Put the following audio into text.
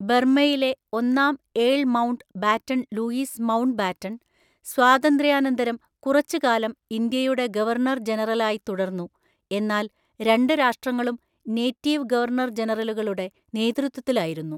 ബർമ്മയിലെ ഒന്നാം earl Mountbatten Louis Mountbatten, സ്വാതന്ത്ര്യാനന്തരം കുറച്ചുകാലം ഇന്ത്യയുടെ ഗവർണർ ജനറലായി തുടർന്നു, എന്നാൽ രണ്ട് രാഷ്ട്രങ്ങളും നേറ്റീവ് ഗവർണർ ജനറലുകളുടെ നേതൃത്വത്തിലായിരുന്നു.